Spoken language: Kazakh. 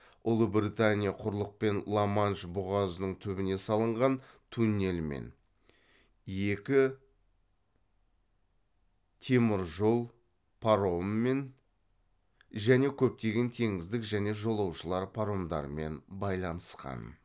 ұлыбритания құрлықпен ла манш бұғазының түбіне салынған туннельмен екі темір жол паромымен және көптеген теңіздік және жолаушылар паромдарымен байланысқан